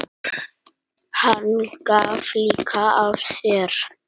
Hann gaf líka af sér.